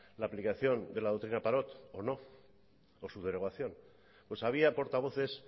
la aplicación de la doctrina parot o no o su derogación pues había portavoces